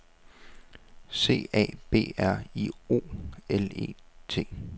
C A B R I O L E T